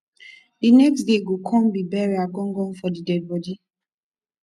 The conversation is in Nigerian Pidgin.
di next day go kon be burial gan gan for di deadbodi